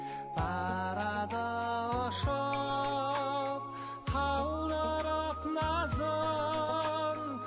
барады ұшып қалдырып назын